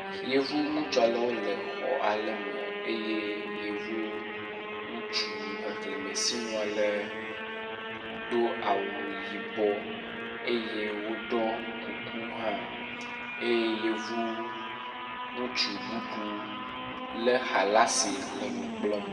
Yevu ŋutsu alewo le xɔ ale me eye yevu ŋutsu xexlẽme si nu ale do awu yibɔ eye woɖɔ kuku hã eye yevu ŋutsu bubu lé xa la si le nu kplɔm.